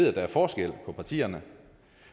at der er forskel på partierne